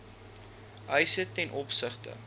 eise ten opsigte